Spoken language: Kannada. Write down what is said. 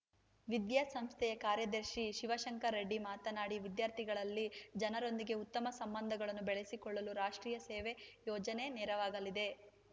ವಿದ್ಯಾ ಸಂಸ್ಥೆಯ ಕಾರ್ಯದರ್ಶಿ ಶಿವಶಂಕರರೆಡ್ಡಿ ಮಾತನಾಡಿ ವಿದ್ಯಾರ್ಥಿಗಳಲ್ಲಿ ಜನರೊಂದಿಗೆ ಉತ್ತಮ ಸಂಬಂಧಗಳನ್ನು ಬೆಳಸಿಕೊಳ್ಳಲು ರಾಷ್ಟ್ರೀಯ ಸೇವಾ ಯೋಜನೆ ನೆರವಾಗಲಿದೆ